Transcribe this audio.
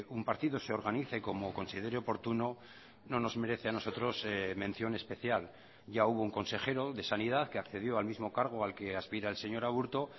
un partido se organice como considere oportuno no nos merece a nosotros mención especial ya hubo un consejero de sanidad que accedió al mismo cargo al que aspira el señor aburto